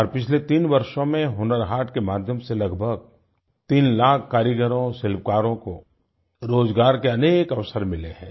और पिछले तीन वर्षों में हुनर हाट के माध्यम से लगभग तीन लाख कारीगरों शिल्पकारों को रोजगार के अनेक अवसर मिले हैं